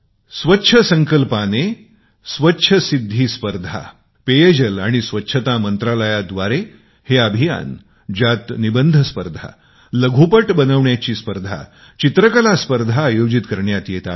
स्वच्छसंकल्पनेतील स्वच्छसिद्धी स्पर्धा पेयजल आणि स्वच्छता मंत्रालया द्वारे हे अभियान ज्यात निबंध स्पर्धा लघु फिल्म बनविण्याची स्पर्धा चित्रकला स्पर्धा आयोजित करण्यात येत आहे